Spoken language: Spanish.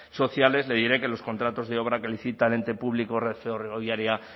sociales le diré que los contratos de obra que licita el ente público red ferroviaria